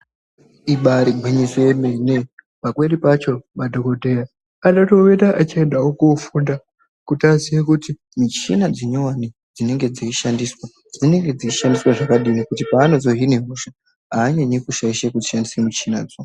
Ibarigwinyiso yemene pamweni pacho madhogodheya anotomboita achiendavo kofunda. Kuti aziye kuti michina dzinyovani dzinenge dzeishandiswa dzinenge dzeishandiswa zvakadini. Kuitire kuti paanozohine hosha haanyanyi kushaishe kushandise michinadzo.